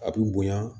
A bi bonya